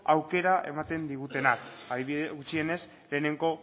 aukera ematen digutenak gutxienez lehenengo